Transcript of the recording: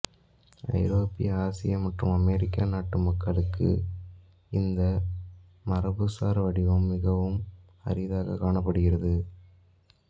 ஐரோப்பிய ஆசிய மற்றும் அமெரிக்க நாட்டு மக்களுக்கு இந்த மரபுசார் வடிவம் மிகவும் அரிதாக காணப்படுகிறது